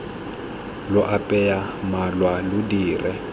lo apeye malwa lo dire